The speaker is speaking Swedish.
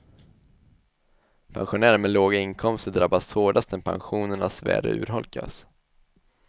Pensionärer med låga inkomster drabbas hårdast när pensionernas värde urholkas.